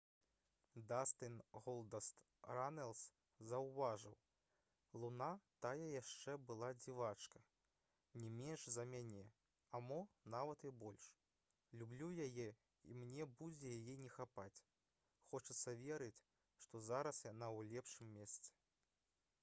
дастын «голдаст» ранэлс заўважыў: «луна тая яшчэ была дзівачка не менш за мяне... а мо нават і больш... люблю яе і мне будзе яе не хапаць... хочацца верыць што зараз яна ў лепшым месцы»